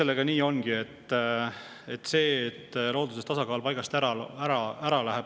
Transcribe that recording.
Eks see olegi nii, et looduse tasakaal läheb aeg-ajalt paigast ära.